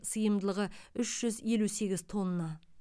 сыйымдылығы үш жүз елу сегіз тонна